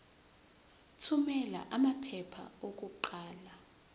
thumela amaphepha okuqala